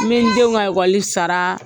N mi denw ka sara